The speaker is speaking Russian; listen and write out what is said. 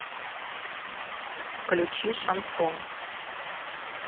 включи шансон